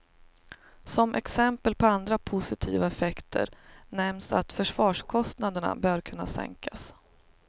Som exempel på andra positiva effekter nämns att försvarskostnaderna bör kunna sänkas.